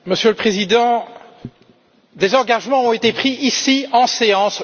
Monsieur le Président, lundi, des engagements ont été pris ici, en séance.